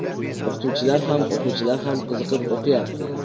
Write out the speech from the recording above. O‘qituvchilar ham, o‘quvchilar ham qiziqib o‘qiyapti.